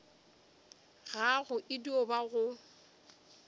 gago e dio ba go